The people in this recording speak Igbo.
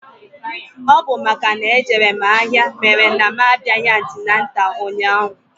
Ọ bụ makana ejere mụ ahịa mere na mụ abịaghị antịnantal ụnyaahụ.